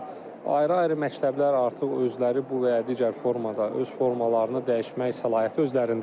Amma ayrı-ayrı məktəblər artıq özləri bu və ya digər formada öz formalarını dəyişmək səlahiyyəti özlərindədir.